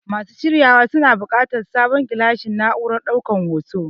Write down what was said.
Masu shiryawar suna buƙatar sabon gilashin na'urar ɗaukan hoto.